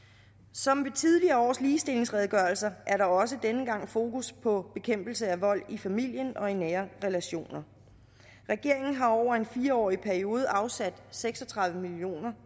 som ved tidligere års ligestillingsredegørelser er der også denne gang fokus på bekæmpelse af vold i familien og i nære relationer regeringen har over en fireårig periode afsat seks og tredive million